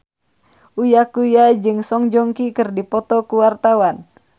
Uya Kuya jeung Song Joong Ki keur dipoto ku wartawan